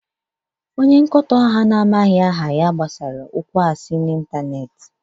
Onye nkoto ahụ na-amaghị aha gbasara okwu asị n'ịntanetị.